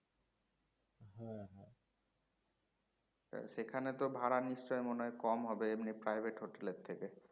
সেখানে তো ভাড়া নিশ্চয় মনেহয় কম হবে এমনি private হোটেলের থেকে